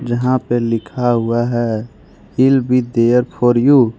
जहां पे लिखा हुआ है I'll be there for you.